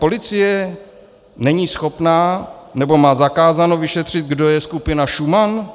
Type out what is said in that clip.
Policie není schopná, nebo má zakázáno vyšetřit, kdo je skupina Šuman?